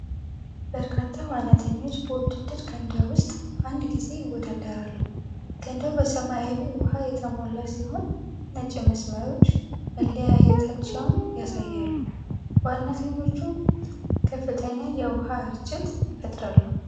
በርካታ ዋናተኞች በውድድር ገንዳ ውስጥ በአንድ ጊዜ ይወዳደራሉ። ገንዳው በሰማያዊ ውሃ የተሞላ ሲሆን ነጭ መስመሮች መለያየታቸውን ያሳያሉ። ዋናተኞቹ ከፍተኛ የውሃ ረጭት ይፈጥራሉ።